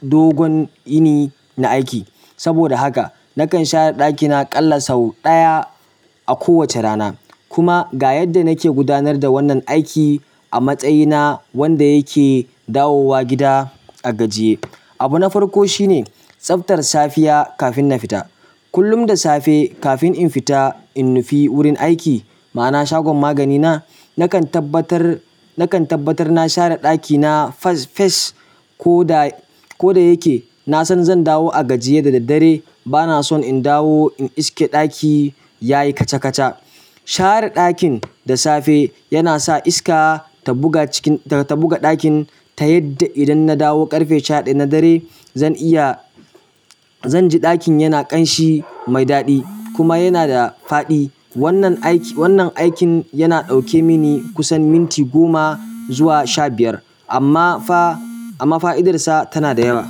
dogon yini na aiki. Saboda haka nakan share ɗakina ƙalla sau ɗaya a kowace rana. Kuma ga yadda nake gudanar da wannan aiki a matsayina wanda yake dawowa gida a gajiye. Abu na farko shine tsaftar safiya kafin na fita. Kullum da safe kafin in fita in nufi wurin aiki, ma'ana shagon magani na, nakan tabbatar, nakan tabbatar na share ɗakina fas, fes, ko da, ko da yake na san zan dawo a gajiye da daddare. Bana son in dawo in iske ɗaki ya yi kaca kaca. Share ɗakin da safe yana sa iska ta buga cikin, ta buga ɗakin ta yadda idan na dawo ƙarfe shaɗaya na dare, zan iya, zan ji ɗakin yana ƙanshi mai daɗi kuma yana da faɗi. Wannan aikin ya ɗauke mini kusan minti goma zuwa sha biyar. Amma fah, amma fa'idarsa tana da yawa.